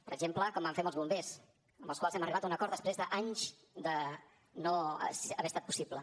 per exemple com vam fer amb els bombers amb els quals hem arribat a un acord després d’anys de no haver estat possible